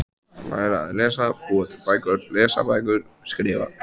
Læra að lesa- búa til bækur- lesa bækur- skrifa